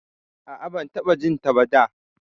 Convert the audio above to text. A'a, ban taɓa jinta ba da.